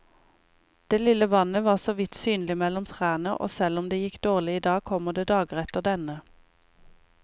Det lille vannet var såvidt synlig mellom trærne, og selv om det gikk dårlig i dag, kommer det dager etter denne.